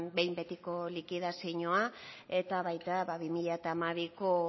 behin betiko likidazioa eta baita bi mila hamabiko